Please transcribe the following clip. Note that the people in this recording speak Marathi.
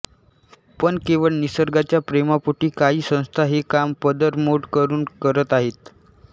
पण केवळ निसर्गाच्या प्रेमापोटी काहीं संस्था हे काम पदरमोड करून करत आहेत